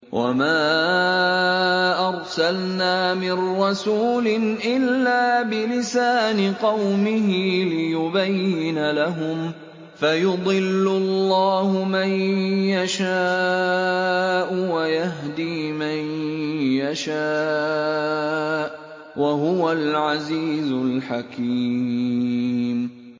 وَمَا أَرْسَلْنَا مِن رَّسُولٍ إِلَّا بِلِسَانِ قَوْمِهِ لِيُبَيِّنَ لَهُمْ ۖ فَيُضِلُّ اللَّهُ مَن يَشَاءُ وَيَهْدِي مَن يَشَاءُ ۚ وَهُوَ الْعَزِيزُ الْحَكِيمُ